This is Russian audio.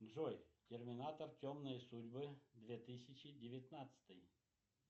джой терминатор темные судьбы две тысячи девятнадцатый